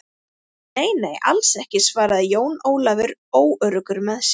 Nei, nei, alls ekki, svaraði Jón Ólafur óöruggur með sig.